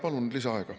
Palun lisaaega.